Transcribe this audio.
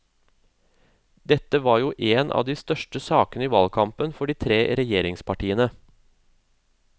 Dette var jo én av de største sakene i valgkampen for de tre regjeringspartiene.